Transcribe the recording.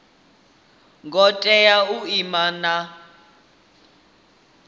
ngo tea u ima na